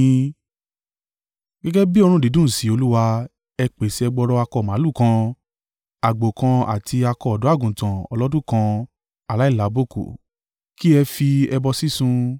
Gẹ́gẹ́ bí òórùn dídùn sí Olúwa, ẹ pèsè ẹgbọrọ akọ màlúù kan, àgbò kan àti akọ ọ̀dọ́-àgùntàn ọlọ́dún kan aláìlábùkù, kí ẹ fi ẹbọ sísun.